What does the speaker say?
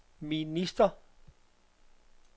minister